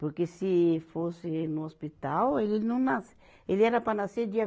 Porque se fosse no hospital, ele não nasce, ele era para nascer dia